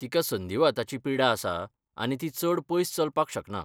तिका संधिवाताची पिडा आसा आनी ती चड पयस चलपाक शकना.